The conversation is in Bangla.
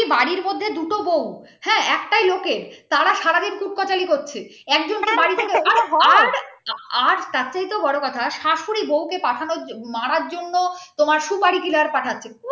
একটা বাড়ির মধ্যে দুটো বউ একটাই লোকের তারা সাধারণ পুত পাঁচালী করছে একজনের বাড়ি থেকে হয় আর তার চাইতেওবড় কথা শাশুড়ি বউকে মারার জন্য সুপারি killer পাঠাচ্ছে